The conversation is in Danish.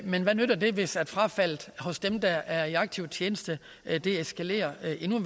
men hvad nytter det hvis frafaldet hos dem der er i aktiv tjeneste eskalerer